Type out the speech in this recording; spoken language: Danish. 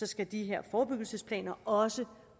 skal de her forebyggelsesplaner også